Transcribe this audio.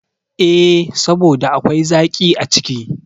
E, saboda akwai zaƙi a ciki.